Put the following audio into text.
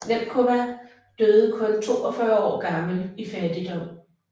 Němcová døde kun 42 år gammel i fattigdom